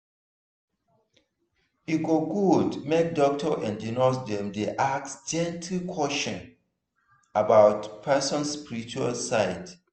e go good make doctor and nurse dem dey ask gentle questions about person spiritual side.